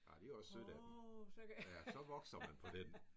Ej det også sødt af dem! Ja så vokser man på den